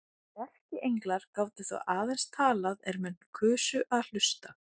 Erkienglar gátu þá aðeins talað er menn kusu að hlusta.